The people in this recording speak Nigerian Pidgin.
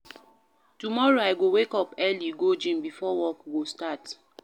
Tomorrow, I go wake up early go gym before work go start.